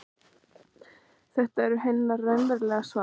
Þeir eru hennar raunverulega svar.